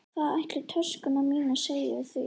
Hvað ætli töskurnar mínar segi við því?